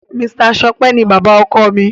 Mr Sope ní bàbá ọkọ mí